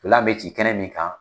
Ntolan bɛ ci kɛnɛ min kan.